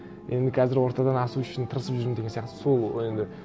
енді қазір ортадан асу үшін тырысып жүрмін деген сияқты сол енді